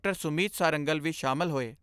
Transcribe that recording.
ਸੁਮੀਤ ਸਾਰੰਗਲ ਵੀ ਸ਼ਾਮਲ ਹੋਏ।